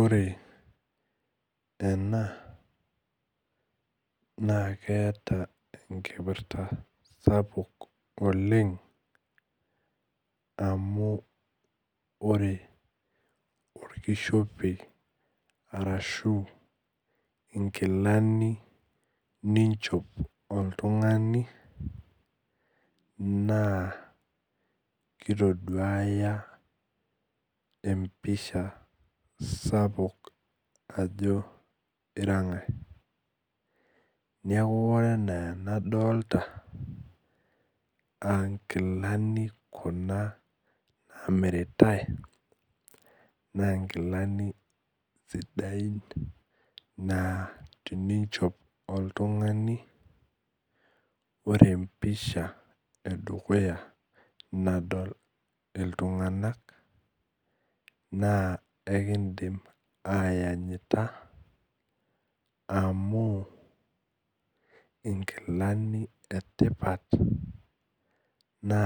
Ore ena na keeta enkipirta oleng amu ore orkishope arashubnkilani ninchop oltungani na kitoduaya empisha sapukbajo irangae neaku ore ena ana nadolta ankilani kuna na namiritai nangilani sidain naa teninchop oltungani ore empisha edukuya nadol ltunganak na ekindim ayanyita amu nkilani etipat na